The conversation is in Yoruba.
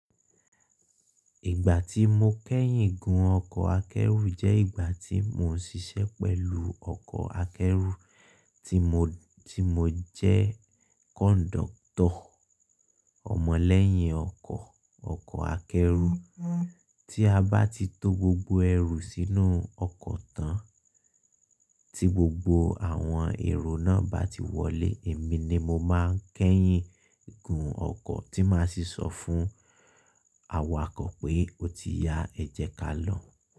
Ìgbà tí mo kẹ́yìn gùn ọkọ̀ akẹ́rù jẹ́ ìgbà tí mo ń ṣiṣẹ́ pẹ̀lú ọkọ̀ akẹ́rù tí mo, tí mo jẹ́ conductor. Ọ̀mọ̀lẹ́yìn ọkọ̀, ọkọ̀ akẹ́rù. Tí a bá ti tó gbogbo ẹrù sínú ọkọ̀ tán, tí gbogbo àwọn èrò náà bá ti wọlé, èmi ni mo máa ń kẹ́yìn gùn ọkọ̀ tí máa ṣi ṣọ̀ fún awakọ̀ pé o ti ya ẹ́ jẹ kalo.